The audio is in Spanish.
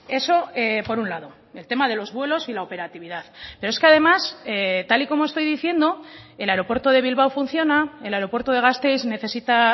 eso por un lado el tema de los vuelos y la operatividad pero es que además tal y como estoy diciendo el aeropuerto de bilbao funciona el aeropuerto de gasteiz necesita